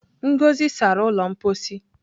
Ngozi sara ụlọ mposi.